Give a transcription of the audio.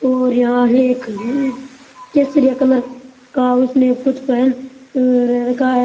और यहाँ एक केसरिया कलर का उसने कुछ पहन रखा है।